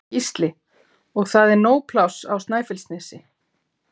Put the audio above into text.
Gísli: Og það er nóg pláss á Snæfellsnesi?